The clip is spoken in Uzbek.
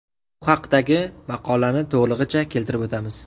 Bu haqdagi maqolani to‘lig‘icha keltirib o‘tamiz.